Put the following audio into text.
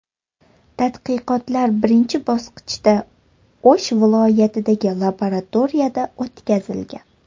Tadqiqotlar birinchi bosqichda O‘sh viloyatidagi laboratoriyada o‘tkazilgan.